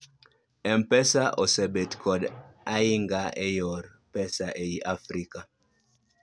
m-pesa osebed kod ahinga e yor pesa ei Africa